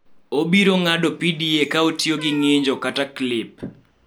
Obiro ng�ado PDA ka otiyo gi ng�injo kata klip.